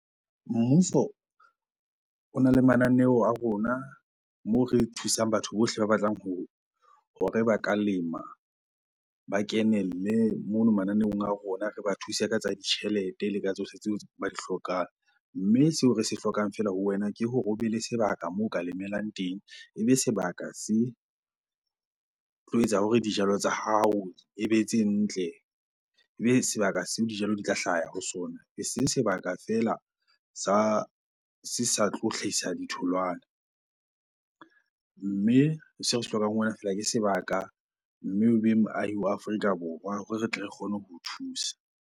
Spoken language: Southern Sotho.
Mmuso ona le mananeo a rona moo re thusang batho bohle ba batlang hore ba ka lema ba kenelle mono mananeong a rona. Re ba thuse ka tsa ditjhelete le ka tsohle tseo ba di hlokang. Mme seo re se hlokang feela ho wena ke hore o be le sebaka moo o ka lemelang teng. Ebe sebaka se tlo etsa hore dijalo tsa hao e be tse ntle, ebe sebaka seo dijalo di tla hlaha ho sona. Eseng sebaka fela sa, se sa tlo hlahisa ditholwana. Mme se re se hlokang ho wena feela ke sebaka, mme o be moahi wa Afrika Borwa hore re tle re kgone ho o thusa.